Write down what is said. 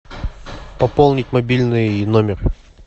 пополнить мобильный номер